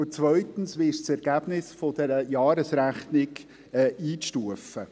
Und zweitens: Wie ist das Ergebnis dieser Jahresrechnung einzustufen?